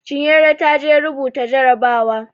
Chinyere ta je rubuta jarabawa.